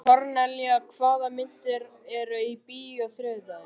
Kornelía, hvaða myndir eru í bíó á þriðjudaginn?